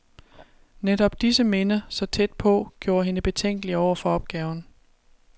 Netop disse minder, så tæt på, gjorde hende betænkelig over for opgaven.